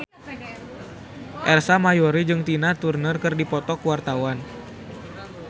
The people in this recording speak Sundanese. Ersa Mayori jeung Tina Turner keur dipoto ku wartawan